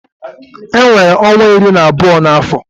E nwere ọnwa iri na abụọ na afọ